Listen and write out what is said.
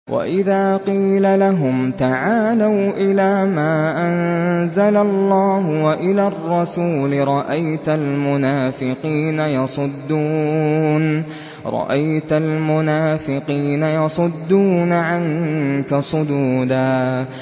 وَإِذَا قِيلَ لَهُمْ تَعَالَوْا إِلَىٰ مَا أَنزَلَ اللَّهُ وَإِلَى الرَّسُولِ رَأَيْتَ الْمُنَافِقِينَ يَصُدُّونَ عَنكَ صُدُودًا